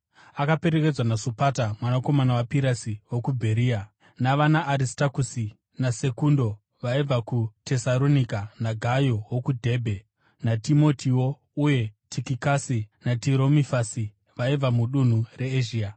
Akaperekedzwa naSopata mwanakomana waPirasi wokuBheria, navanaAristakusi naSekundo, vaibva kuTesaronika, naGayo wokuDhebhe, naTimotiwo uye Tikikasi naTirofimasi vaibva mudunhu reEzhia.